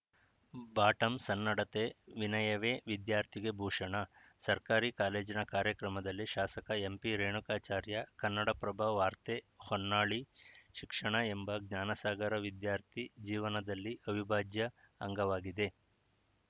bottom ಸನ್ನಡತೆ ವಿನಯವೇ ವಿದ್ಯಾರ್ಥಿಗೆ ಭೂಷಣ ಸರ್ಕಾರಿ ಕಾಲೇಜಿನ ಕಾರ್ಯಕ್ರಮದಲ್ಲಿ ಶಾಸಕ ಎಂಪಿ ರೇಣುಕಾಚಾರ್ಯ ಕನ್ನಡಪ್ರಭ ವಾರ್ತೆ ಹೊನ್ನಾಳಿ ಶಿಕ್ಷಣ ಎಂಬ ಜ್ಞಾನಸಾಗರ ವಿದ್ಯಾರ್ಥಿ ಜೀವನದಲ್ಲಿ ಅವಿಭಾಜ್ಯ ಅಂಗವಾಗಿದೆ